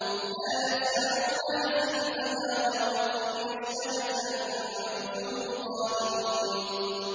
لَا يَسْمَعُونَ حَسِيسَهَا ۖ وَهُمْ فِي مَا اشْتَهَتْ أَنفُسُهُمْ خَالِدُونَ